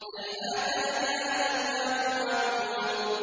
۞ هَيْهَاتَ هَيْهَاتَ لِمَا تُوعَدُونَ